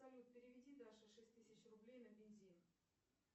салют переведи даше шесть тысяч рублей на бензин